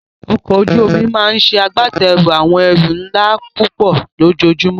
Ọkọ̀ ojú omi máa ń ṣe agbátẹrù àwọn ẹrù ńlá púpọ̀ lójoojúmọ́.